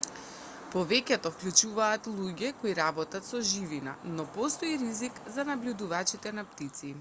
повеќето вклучуваат луѓе кои работат со живина но постои и ризик за набљудувачите на птици